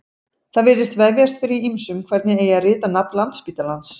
Það virðist vefjast fyrir ýmsum hvernig eigi að rita nafn Landspítalans.